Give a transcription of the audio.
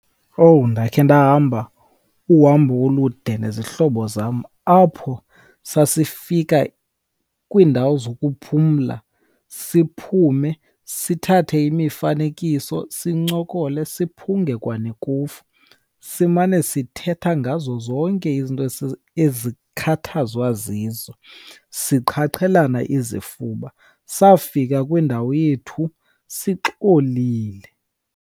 Owu, ndakhe ndahamba uhambo olude nezihlobo zam apho sasifika kwiindawo zokuphumla, siphume sithathe imifanekiso, sincokole siphunge kwanekofu. Simane sithetha ngazo zonke izinto ezikhathazwa zizo siqhaqhelana izifuba. Safika kwindawo yethu sixolile.